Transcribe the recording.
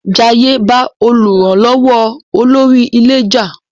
Jaiye ba olùrànlówó olórí ilé já.